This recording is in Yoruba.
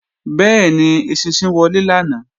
Bẹ́ẹ̀ni, eṣinṣin wọlé lánàá